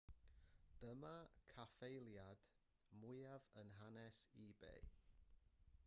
dyma'r caffaeliad mwyaf yn hanes ebay